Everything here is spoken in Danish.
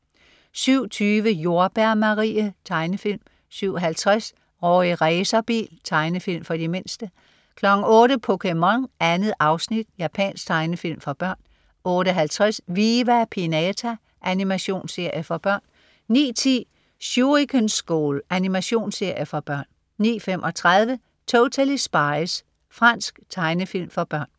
07.20 Jordbær Marie. Tegnefilm 07.50 Rorri Racerbil. Tegnefilm for de mindste 08.00 POKéMON. 2 afsnit. Japansk tegnefilm for børn 08.50 Viva Pinata. Animationsserie for børn 09.10 Shuriken School. Animationsserie for børn 09.35 Totally Spies. Fransk tegnefilm for børn